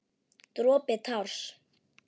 Dropi társ.